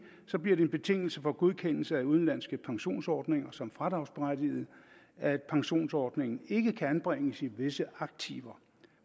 så bliver det en betingelse for godkendelse af udenlandske pensionsordninger som fradragsberettigede at pensionsordningen ikke kan anbringes i visse aktiver